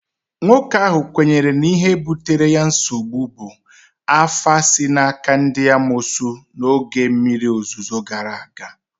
nwoke ahụ kwenyere na ihe butere ya nsogbu bụ afa si n'aka ndị amoosu n'oge mmiri ozuzo gara aga